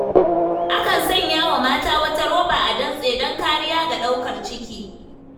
Akan sayawa mata wata roba a dantse, don kariya ga ɗaukar ciki.